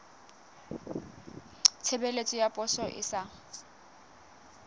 tshebeletso ya poso e sa